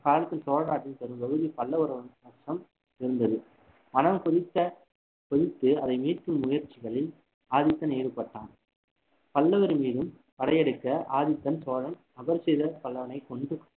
அக்காலத்தில் சோழ நாட்டின் பெரும் பகுதி பல்லவர் வசம் இருந்தது மனம் கொதித்த கொதித்து அதை மீட்கும் முயற்சிகளில் ஆதித்தன் ஈடுபட்டான் பல்லவர் மீதும் படையெடுக்க ஆதித்தன் சோழன் அபராஜித பல்லவனை கொன்று